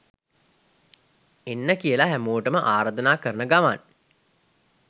එන්න කියලා හැමොටම ආරධනා කරන ගමන්